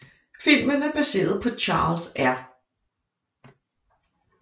Filmen er baseret på Charles R